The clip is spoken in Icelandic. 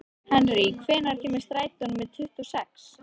Henrý, hvenær kemur strætó númer tuttugu og sex?